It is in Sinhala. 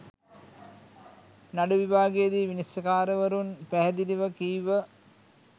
නඩු විභාගයේදී විනිශ්චයකාරවරුන් පැහැදිළිව කීව